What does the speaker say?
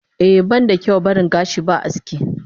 Eh banda kyau baring gashi ba aski.